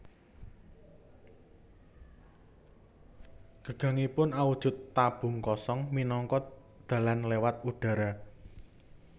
Gagangipun awujud tabung kosong minangka dalan lewat udara